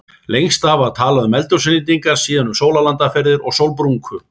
Lengst af var talað um eldhúsinnréttingar, síðan um sólarlandaferðir og sólbrúnku.